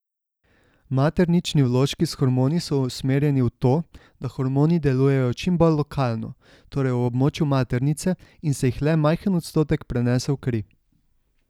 Maternični vložki s hormoni so usmerjeni v to, da hormoni delujejo čim bolj lokalno, torej v območju maternice, in se jih le majhen odstotek prenese v kri.